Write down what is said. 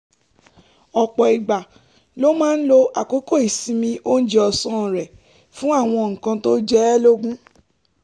ọ̀pọ̀ ìgbà ló máa ń lo àkókò ìsinmi oúnjẹ ọ̀sán rẹ̀ fún àwọn nǹkan tó jẹ ẹ́ lógún